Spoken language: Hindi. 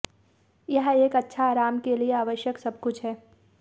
यह एक अच्छा आराम के लिए आवश्यक सब कुछ है